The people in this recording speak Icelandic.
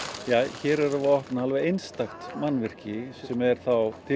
hér erum við að opna einstakt mannvirki sem er þá til